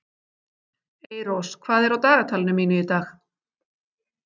Eyrós, hvað er á dagatalinu mínu í dag?